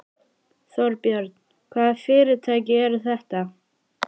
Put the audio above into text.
Þorbjörn: Hvaða fyrirtæki eru þetta?